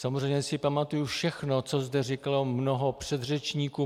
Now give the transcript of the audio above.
Samozřejmě si pamatuji všechno, co zde říkalo mnoho předřečníků.